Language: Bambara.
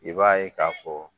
I b'a ye k'a fɔ